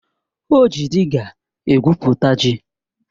O ji dịga egwupụta ji